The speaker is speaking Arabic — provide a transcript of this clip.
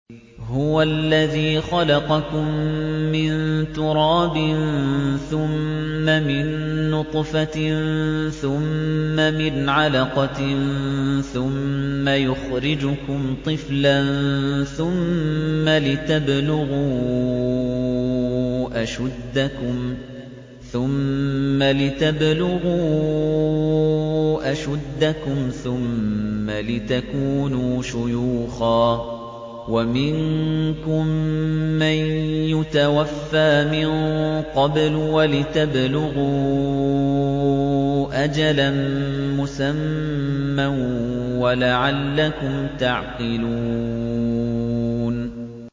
هُوَ الَّذِي خَلَقَكُم مِّن تُرَابٍ ثُمَّ مِن نُّطْفَةٍ ثُمَّ مِنْ عَلَقَةٍ ثُمَّ يُخْرِجُكُمْ طِفْلًا ثُمَّ لِتَبْلُغُوا أَشُدَّكُمْ ثُمَّ لِتَكُونُوا شُيُوخًا ۚ وَمِنكُم مَّن يُتَوَفَّىٰ مِن قَبْلُ ۖ وَلِتَبْلُغُوا أَجَلًا مُّسَمًّى وَلَعَلَّكُمْ تَعْقِلُونَ